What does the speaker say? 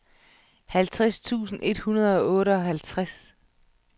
halvtreds tusind et hundrede og otteoghalvtreds